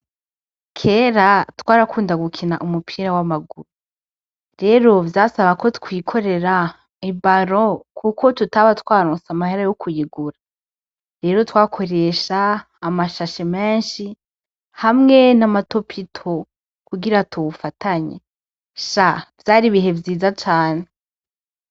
Kera twarakunda gukina umupira w'amaguru, rero vyasaba ko twikorera ibaro kuko tutaba twarutse amahera yo kuyigura, rero twakoresha amashashe menshi hamwe n'amatopito kugira tuwufatanye sa vyaribihe yiza cane.